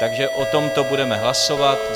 Takže o tomto budeme hlasovat.